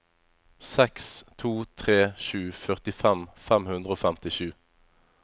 seks to tre sju førtifem fem hundre og femtisju